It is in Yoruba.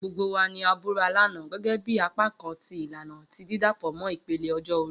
Gbogbo wa ni a bura lana, gẹgẹbi apakan ti ilana ti didapọ mọ ipele ọjọ-ori.